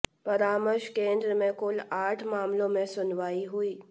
परामर्श केंद्र में कुल आठ मामलों में सुनवाई हुई